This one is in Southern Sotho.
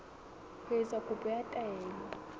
ho etsa kopo ya taelo